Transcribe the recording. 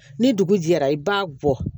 Ni dugu jɛra i b'a bɔ